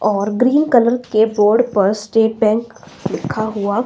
और green colour के board पर स्टेट बैंक लिखा हुआ--